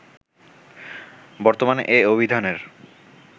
বর্তমানে এ অভিধানের